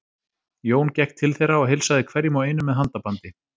Jón gekk til þeirra og heilsaði hverjum og einum með handabandi.